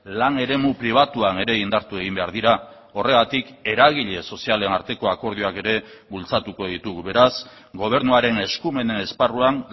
lan eremu pribatuan ere indartu egin behar dira horregatik eragile sozialen arteko akordioak ere bultzatuko ditugu beraz gobernuaren eskumen esparruan